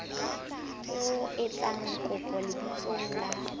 o etsa kopo lebitsong la